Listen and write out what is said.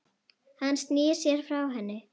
Hann snýr sér frá henni.